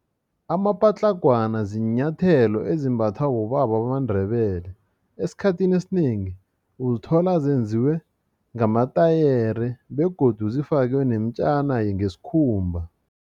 Amapatlagwana ziinyathelo ezimbathwa bobaba bamaNdebele esikhathini esinengi uzithola zenziwe ngematayere begodu zifakwe nemtjana yesikhumba.